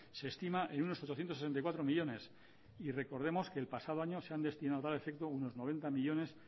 se estima en unos ochocientos sesenta y cuatro millónes y recordemos que el pasado año se han destinado a tal efecto unos noventa millónes